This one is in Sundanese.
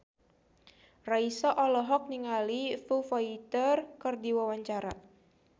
Raisa olohok ningali Foo Fighter keur diwawancara